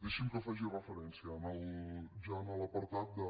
deixi’m que faci referència ja a l’apartat de